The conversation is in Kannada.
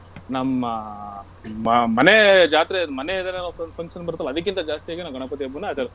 ನಮ್ಮ ಮ~ ಮನೆ ಜಾತ್ರೆ , ಮನೆಯಿಂದಾನೆ ಏನೋ ಸ್ವಲ್ಪ function ಬರತಲ್ಲ ಅದಕ್ಕಿಂತ ಜಾಸ್ತಿಯಾಗಿ ನಾವು ಗಣಪತಿ ಹಬ್ಬವನ್ನ ಆಚರಿಸ್ತಿವಿ.